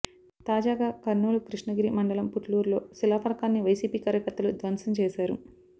తాజాగా కర్నూలు క్రిష్ణగిరి మండలం పుట్లూరులో శిలాఫలాకాన్ని వైసీపీ కార్యకర్తలు ధ్వంసం చేశారు